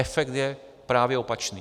Efekt je právě opačný.